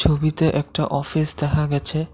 ছবিতে একটা অফিস দেহা গেছে।